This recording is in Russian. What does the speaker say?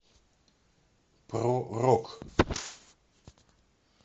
про рок